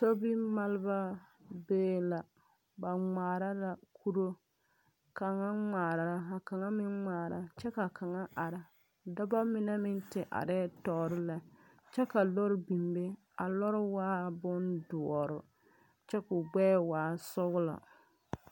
Sobimaalba bee la ba ŋmaara la kuro kaŋa ŋmaara la ka kaŋa meŋ ŋmaara kyɛ ka kaŋa are dɔba mine meŋ te arɛɛ tɔɔre lɛ kyɛ ka lɔɔr biŋ be a lɔɔr waa bondoɔr kyɛ k,o gbɛɛ waa sɔglɔ.